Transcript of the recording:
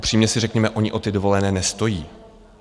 Upřímně si řekněme, oni o ty dovolené nestojí.